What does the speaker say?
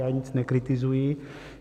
Já nic nekritizuji.